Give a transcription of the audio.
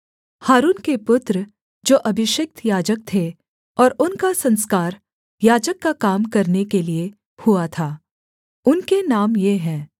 हारून के पुत्र जो अभिषिक्त याजक थे और उनका संस्कार याजक का काम करने के लिये हुआ था उनके नाम ये हैं